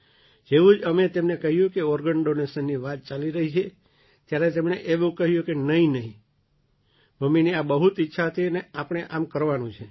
જેવું જ અમે તેમને કહ્યું કે ઑર્ગન ડૉનેશનની વાત ચાલી રહી છે ત્યારે તેમણે એવું કહ્યું કે નહીં નહીં મમ્મીની આ બહુ ઈચ્છા હતી અને આપણે આમ કરવાનું છે